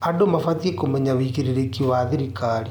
Andũ mabatiĩ kũmenya wĩigĩrĩrĩki wa thirikari.